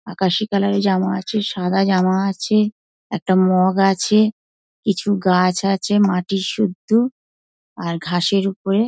আকাশী কালার -এর জামা আছে সাদা জামা আছে একটা মগ আছে কিছু গাছ আছে মাটি সুদ্দু আর ঘাসের ওপরে --